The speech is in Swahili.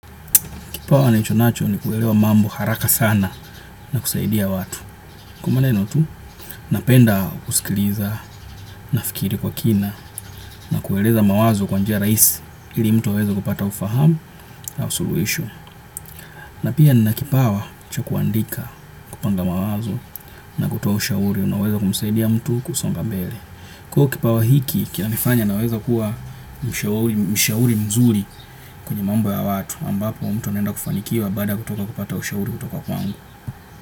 Kipawa nilichonacho ni kuelewa mambo haraka sana na kusaidia watu. Kwa maneno tu, napenda kusikiliza, kufikiri kwa kina na kueleza mawazo kwa njia rahisi ili mtu aweze kupata ufahamu na suluhisho. Na pia nina kipawa cha kuandika, kupanga mawazo na kutoa ushauri, unaoweza kumsaidia mtu kusonga mbele. Kuwa na kipawa hiki kinanifanya niweze kuwa mshauri mzuri kwenye mambo ya watu. Ambapo mtu anaenda kufanikiwa baada kutoka kupata ushauri kutoka kwangu.